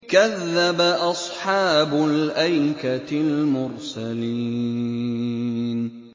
كَذَّبَ أَصْحَابُ الْأَيْكَةِ الْمُرْسَلِينَ